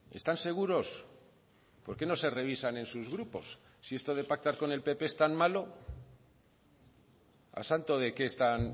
están seguros por qué no se revisan en sus grupos si esto de pactar con el pp es tan malo a santo de qué están